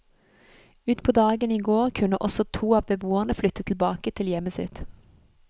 Ut på dagen i går kunne også to av beboerne flytte tilbake til hjemmet sitt.